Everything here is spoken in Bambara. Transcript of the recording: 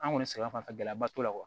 An kɔni sɛgɛn fanfɛ gɛlɛyaba t'o la